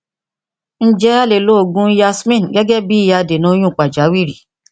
ǹjẹ alè lo òògùn yasmin gẹgẹ bí i adènà oyún pàjáwìrì